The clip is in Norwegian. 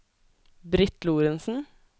Britt Lorentzen